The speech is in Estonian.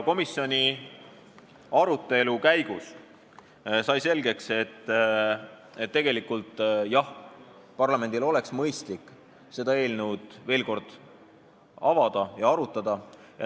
Komisjoni arutelu käigus sai selgeks, et jah, parlamendil oleks mõistlik seda seadust veel kord arutada.